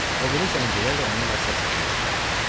O biri zəncilər də onunla səs-səsə verdilər.